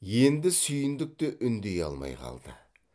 енді сүйіндік те үндей алмай қалды